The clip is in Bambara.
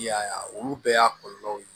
I y'a ye olu bɛɛ y'a kɔlɔlɔw ye